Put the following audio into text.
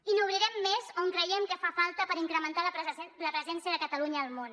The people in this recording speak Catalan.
i n’obrirem més on creiem que fa falta per incrementar la presència de catalunya al món